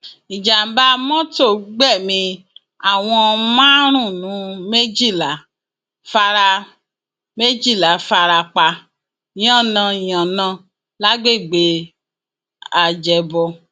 ìjàḿbà mọtò gbẹmí àwọn márùnún méjìlá fara méjìlá fara pa yánnayànna lágbègbè ajẹbọ